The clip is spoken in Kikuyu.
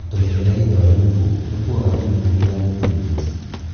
Tũmĩberethi twa lymph tũkuaga lymph nginya lymph nodes.